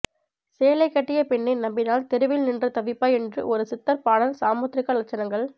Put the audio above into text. சேலை கட்டிய பெண்ணை நம்பினால் தெருவில் நின்று தவிப்பாய் என்று ஒரு சித்தர் பாடல் சாமுத்ரிகா லட்சணங்கள்